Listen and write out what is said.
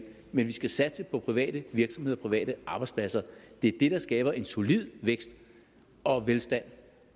men vi skal satse på private virksomheder private arbejdspladser det er det der skaber en solid vækst og velstand